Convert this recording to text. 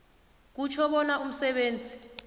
kutjho bona umsebenzi